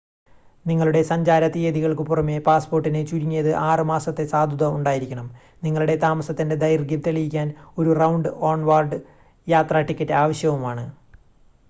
നിങ്ങളുടെ സഞ്ചാര തിയതികൾക്കു പുറമെ പാസ്സ്പോർട്ടിന് ചുരുങ്ങിയത് 6 മാസത്തെ സാധുത ഉണ്ടായിരിക്കണം. നിങ്ങളുടെ താമസത്തിന്റെ ദൈർഘ്യം തെളിയിക്കാൻ ഒരു റൗണ്ട്/ഓൺവാർഡ് യാത്രാ ടിക്കറ്റ് ആവശ്യവുമാണ്